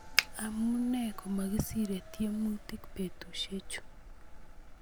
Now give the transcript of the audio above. amune komesire tiemutik betusiechu?